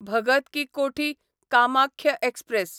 Bhagat ki Kothi Kamakhya express